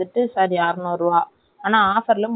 பரவாயில்லை ஆனால் ரொம்ப குட்டிய இருக்குதா.